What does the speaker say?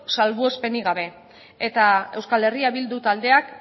salbuespenik gabe eta euskal herria bildu taldeak